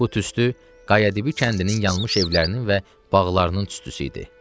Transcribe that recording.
Bu tüstü Qayadibi kəndinin yanmış evlərinin və bağlarının tüstüsü idi.